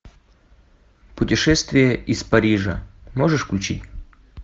путешествие из парижа можешь включить